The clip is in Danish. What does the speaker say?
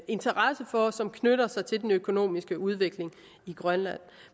interesse for og som knytter sig til den økonomiske udvikling i grønland